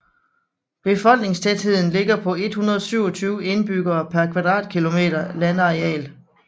Befolkningstætheden ligger på 127 indbyggere per kvadratkilometer landareal